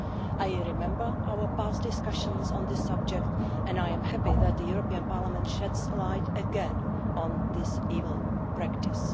I remember our past discussions on this subject, and I am happy that the European Parliament is shedding light again on this evil practice.